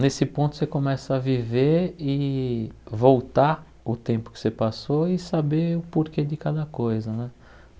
Nesse ponto você começa a viver e voltar o tempo que você passou e saber o porquê de cada coisa né.